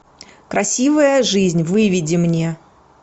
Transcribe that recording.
красивая жизнь выведи мне